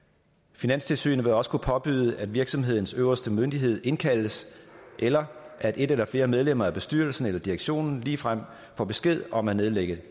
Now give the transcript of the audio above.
finanstilsynet vil også kunne påbyde at virksomhedens øverste myndighed indkaldes eller at et eller flere medlemmer af bestyrelsen eller direktionen ligefrem får besked om at nedlægge